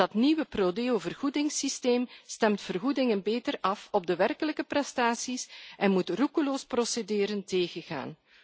Dat nieuwe pro Deovergoedingssysteem stemt vergoedingen beter af op de werkelijke prestaties en moet roekeloos procederen tegengaan.